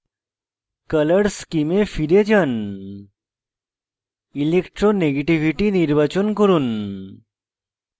color scheme এ ফিরে যান electronegativity নির্বাচন করুন